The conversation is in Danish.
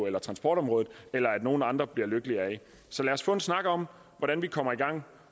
eller transportområdet af eller at nogen andre bliver lykkeligere af så lad os få en snak om hvordan vi kommer i gang